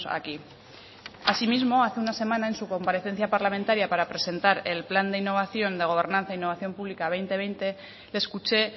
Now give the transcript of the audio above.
aquí asimismo hace una semana en su comparecencia parlamentaria para presentar el plan de innovación de gobernanza e innovación pública dos mil veinte le escuché